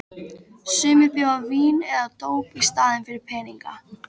Sumir bjóða vín eða dóp í staðinn fyrir peninga.